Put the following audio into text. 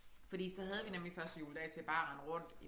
Fordi så havde vi nemlig første juledag til bare at rende rundt